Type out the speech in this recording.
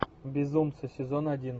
безумцы сезон один